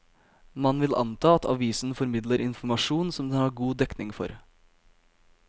Man vil anta at avisen formidler informasjon som den har god dekning for.